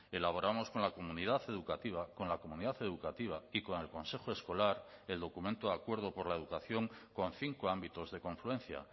elaboramos con la comunidad educativa con la comunidad educativa y con el consejo escolar el documento de acuerdo por la educación con cinco ámbitos de confluencia